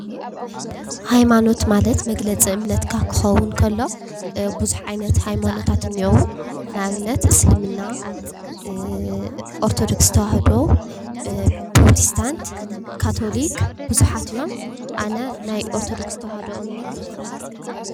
ሃይማኖት ማለት መግለፂ እምነትካ ክኸውን ከሎ፤ ቡዙሕ ዓይነት ሃይማኖታት እኒአው፡፡ ንአብነት፡- እስልምና፣ ኦርቶዶክ ተዋህዶ፣ ፕሮቲስታንት፣ ካቶሊክ ቡዙሓት እዮም፡፡ አነ ናይ ኦርቶዶክስ ተዋህዶ እምነት ተከታሊት እየ፡፡